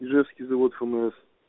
ижевский завод фмс